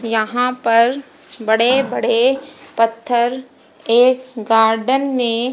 यहां पर बड़े बड़े पत्थर एक गार्डन में--